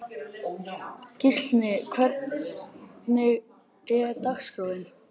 Gíslný, hvernig er dagskráin?